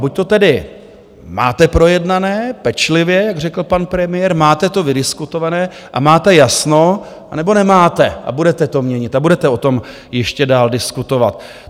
Buď to tedy máte projednané - pečlivě, jak řekl pan premiér, máte to vydiskutované a máte jasno, anebo nemáte a budete to měnit a budete o tom ještě dál diskutovat.